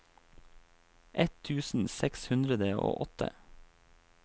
ett tusen seks hundre og åtte